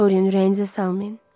Dorian ürəyinizə salmayın.